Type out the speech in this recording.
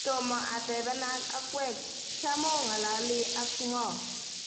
Tomo atebenak okwek, cham oo ng'alali ak ng'oo